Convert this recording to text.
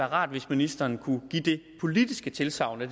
rart hvis ministeren kunne give det politiske tilsagn at